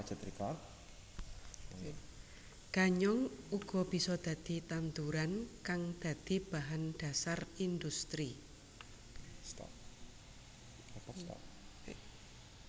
Ganyong uga bisa dadi tanduran kang dadi bahan dhasar industri